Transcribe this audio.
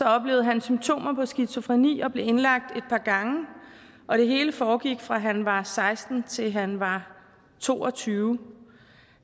oplevede han symptomer på skizofreni og blev indlagt et par gange og det hele foregik fra han var seksten år til han var to og tyve år